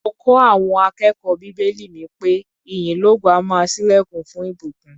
Mo kọ́ àọn akẹ́kọ̀ó bíbélì mi pé ìyìn lógo á máa ṣílẹ̀kùn fún ìbùkún.